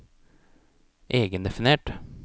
egendefinert